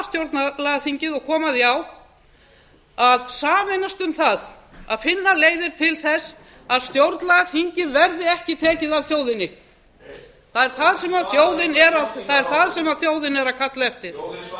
stjórnlagaþingið og koma því á að sameinast um það að finna leiðir til þess að stjórnlagaþingið verði ekki tekið af þjóðinni heyr það er það sem þjóðin er það er það sem þjóðin er að kalla eftir þjóðin svaraði